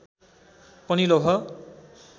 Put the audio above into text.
पनि लौह